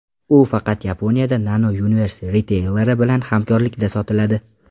U faqat Yaponiyada Nano Universe riteyleri bilan hamkorlikda sotiladi.